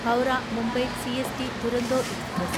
Howrah Mumbai CST Duronto express